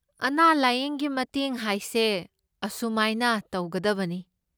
ꯑꯅꯥ ꯂꯥꯌꯦꯡꯒꯤ ꯃꯇꯦꯡ ꯍꯥꯏꯁꯦ ꯑꯁꯨꯃꯥꯏꯅ ꯇꯧꯒꯗꯕꯅꯤ꯫